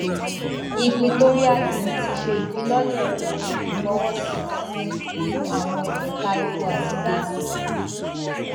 equatorial guinea ti ṣe ìfilọlẹ ìyí ìfọwọsí tuntun fún àwọn ẹka epo àti gáàsì